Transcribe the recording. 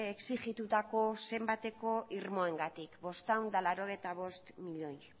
exijitutako zenbateko irmoengatik bostehun eta laurogeita bost milioi